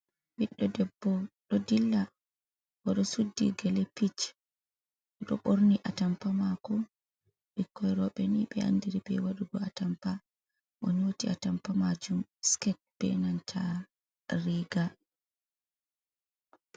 Ɓiddo debbo ɗo dilla oɗo sudi gele pich oɗo borni atampa mako ɓikkoi roɓɓe ni ɓe andiri be wadugo atampa o nyoti a tampa majum sket be nanta riga.